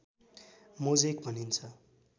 mosaic भनिन्छ